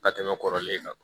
Ka tɛmɛ kɔrɔlen kan